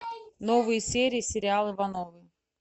новые серии сериала ивановы